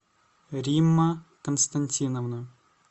римма константиновна